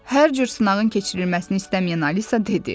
Hər cür sınağın keçirilməsini istəməyən Alisa dedi.